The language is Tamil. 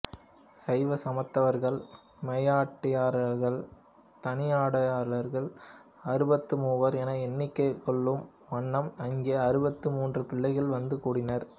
சைவ சமயத்தவர்கள் மெய்யடியார்களான தனியடியார்கள் அறுபத்துமூவர் என எண்ணிக்கொள்ளும் வண்ணம் அங்கே அறுபத்து மூன்று பிள்ளைகள் வந்து கூடினர்